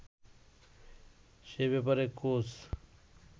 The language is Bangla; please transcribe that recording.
সে ব্যাপারে কোচ